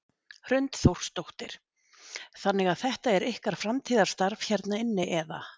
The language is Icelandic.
Hrund Þórsdóttir: Þannig að þetta er ykkar framtíðarstarf hérna inni eða?